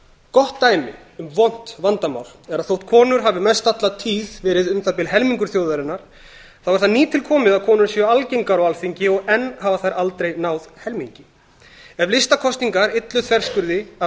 gott dæmi um vont vandamál er að þótt konur hafi mest alla tíð verið um það bil helmingur þjóðarinnar þá er það nýtilkomið að konur séu algeng á alþingi og enn hafa þær aldrei náð helmingi ef listakosningar allt þverskurð af